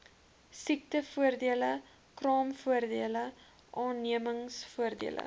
siektevoordele kraamvoordele aannemingsvoordele